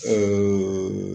Ɛ ee